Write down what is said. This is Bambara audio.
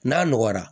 N'a nɔgɔyara